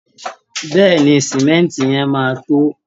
Bẹ́ẹ̀ ni, símẹ́ǹtì yẹn máa tó